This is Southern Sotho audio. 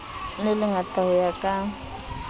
le lengata ho ya ka